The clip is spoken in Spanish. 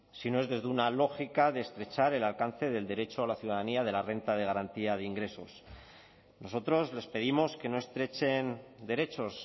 sino es desde una lógica de estrechar el alcance del derecho a la ciudadanía de la renta de garantía de ingresos nosotros les pedimos que no estrechen derechos